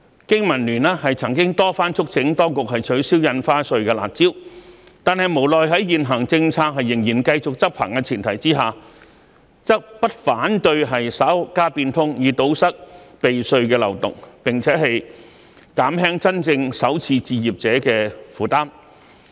經民聯曾經多番促請當局取消印花稅的"辣招"，但無奈在現行政策仍然繼續執行的前提之下，則不反對稍加變通，以堵塞避稅的漏洞，並且減輕真正首次置業者的負擔。